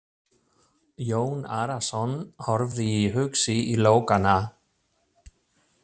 Jón Arason horfði hugsi í logana.